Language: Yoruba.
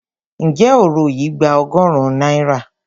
Ǹjẹ́ òro yìí gba ọgọ́rùn-ún náírà?